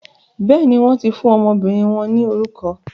Béèni, wọn ti fún ọmọbìnrin wọn ni orukọ